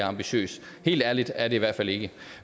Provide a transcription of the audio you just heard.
ambitiøs helt ærligt er det i hvert fald ikke